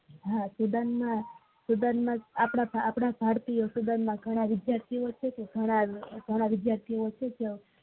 હા student ના આપડા ભારતીય student ના ઘણા વિદ્યાર્થી ઓ છે તો ઘણા વિદ્યાર્થી ઓ